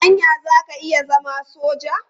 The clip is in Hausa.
Anya za ka iya zama soja?